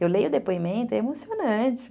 Eu leio o depoimento, é emocionante.